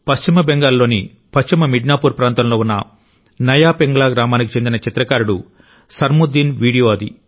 పశ్చిమ బెంగాల్లోని పశ్చిమ మిడ్నాపూర్ ప్రాంతంలో ఉన్న నయా పింగ్లా గ్రామానికి చెందిన చిత్రకారుడు సర్ముద్దీన్ వీడియో అది